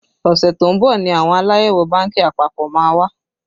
Ọṣẹ tó ń bọ̀ ni àwọn Aláyẹ̀wò bánkì àpapọ̀ má wá